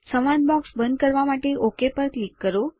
સંવાદ બૉક્સ બંધ કરવા માટે ઓક પર ક્લિક કરો